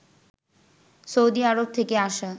সৌদিআরব থেকে আসা